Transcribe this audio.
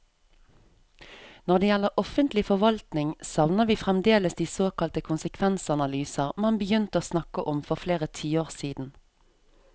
Når det gjelder offentlig forvaltning, savner vi fremdeles de såkalte konsekvensanalyser man begynte å snakke om for flere tiår siden.